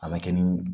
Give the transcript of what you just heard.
A ma kɛ ni